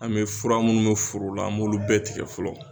An bɛ fura minnu bɛ foro la an b'olu bɛɛ tigɛ fɔlɔ